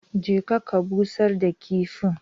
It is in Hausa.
Je ka ka busar da kifin